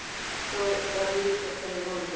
Þá var líka kominn mánudagur.